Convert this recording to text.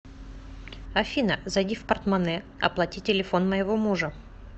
афина зайди в портмоне оплати телефон моего мужа